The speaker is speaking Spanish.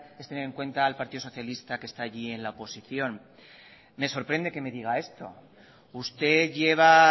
es tener en cuenta al partido socialista que está allí en la oposición me sorprende que me diga esto usted lleva